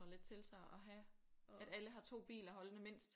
Lidt til så at have at alle har 2 biler holdende mindst